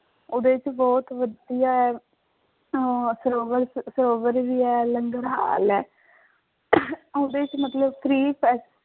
ਉਹਦੇ ਚ ਬਹੁਤ ਵਧੀਆ ਹੈ, ਅਹ ਸਰੋਵਰ ਚ ਸਰੋਵਰ ਵੀ ਹੈ ਲੰਗਰਹਾਲ ਹੈ ਉਹਦੇ ਚ ਮਤਲਬ free